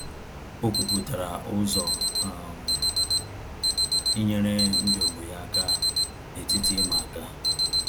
O kwuputara ụzọ um inyere ndị ọgbọ ya aka na-etiti ịma aka